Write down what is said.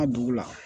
A dugu la